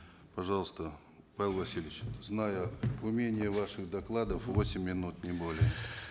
пожалуйста павел васильевич зная умение ваших докладов восемь минут не более